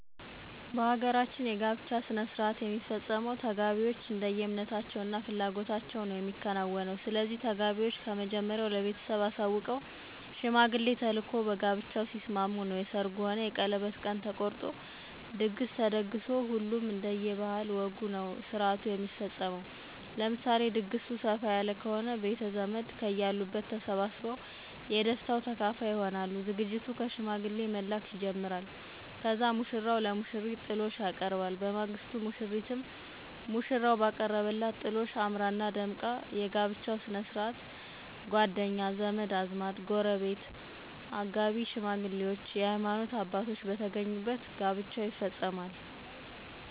በ ሀገራችን የ ጋብቻ ሥነሥርዓት የሚፈፀመው ተጋቢዎች እንደየ እምነታቸው እና ፍላጎታቸው ነዉ የሚከናወነው። ስለዚህ ተጋቢዎች ከመጀመሪያው ለ ቤተሰብ አሳውቀው ሽማግሌ ተልኮ በጋብቻው ሲስማሙ ነው የ ሰርጉ ሆነ የቀለበት ቀን ተቆርጦ ድግስ ተደግሶ ሁሉም እንደየ ባህል ወጉ ነዉ ስነስርዓቱ የሚፈፀመው። ለምሳሌ ድግሱ ሰፍ ያለ ከሆነ ቤተዘመድ ከየ አሉበት ተሰባስበው የ ደስታው ተካፋይ ይሆናሉ። ዝግጅቱ ከ ሽማግሌ መላክ ይጀመራል ከዛም ሙሽራው ለሙሽሪት ጥሎሽ ያቀርባል። በማግስቱ ሙሽሪትም ሙሽራው ባቀረበላት ጥሎሽ አምራና ደምቃ የ ጋብቻቸው ስነስርዓት ጎደኛ, ዘመድአዝማድ, ጎረቤት ,አጋቢ ሽማግሌዎች የ ሀይማኖት አባቶች በተገኙበት ጋብቻው ይፈፀማል።